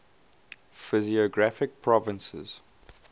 physiographic provinces